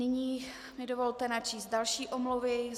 Nyní mi dovolte načíst další omluvy.